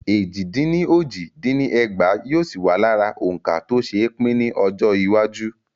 Éjì dín ní ójì dín ní ẹgbàá yóò sì wà lára òǹkà tó ṣe pín ni Ọjọ́ iwájú.